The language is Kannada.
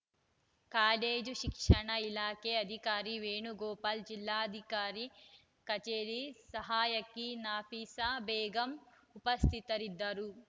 ಕಾಲೇಜು ಶಿಕ್ಷಣ ಇಲಾಖೆಯ ಅಧಿಕಾರಿ ವೇಣುಗೋಪಾಲ ಜಿಲ್ಲಾಧಿಕಾರಿ ಕಚೇರಿ ಸಹಾಯಕಿ ನಫಿಸಾ ಬೇಗಂ ಉಪಸ್ಥಿತರಿದ್ದರು